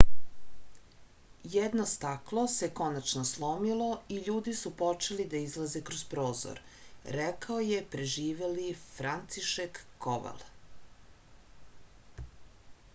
jedno staklo se konačno slomilo i ljudi su počeli da izlaze kroz prozor rekao je preživeli francišek koval